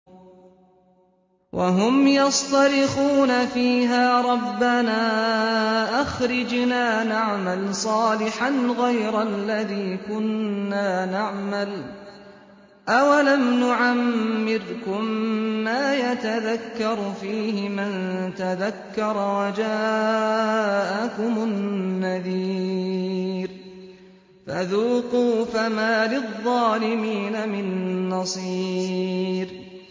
وَهُمْ يَصْطَرِخُونَ فِيهَا رَبَّنَا أَخْرِجْنَا نَعْمَلْ صَالِحًا غَيْرَ الَّذِي كُنَّا نَعْمَلُ ۚ أَوَلَمْ نُعَمِّرْكُم مَّا يَتَذَكَّرُ فِيهِ مَن تَذَكَّرَ وَجَاءَكُمُ النَّذِيرُ ۖ فَذُوقُوا فَمَا لِلظَّالِمِينَ مِن نَّصِيرٍ